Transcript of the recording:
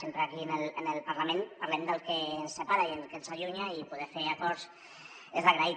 sempre aquí en el parlament parlem del que ens separa i del que ens allunya i poder fer acords és d’agrair